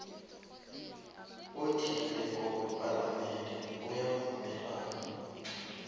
othileko wepalamende uyavumelana